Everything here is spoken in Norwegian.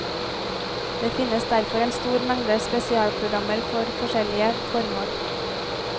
Det finnes derfor en stor mengde spesialprogrammer for forskjellige formål.